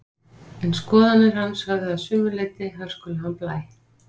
En skoðanir hans höfðu að sumu leyti hörkulegan blæ.